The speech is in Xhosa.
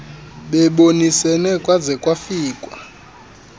bebonisene kwaze kwafikwa